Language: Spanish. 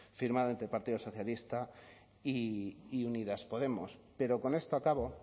firmado entre el partido socialista y unidas podemos pero con esto a cabo